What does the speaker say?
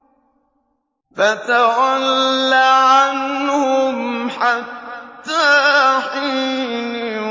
فَتَوَلَّ عَنْهُمْ حَتَّىٰ حِينٍ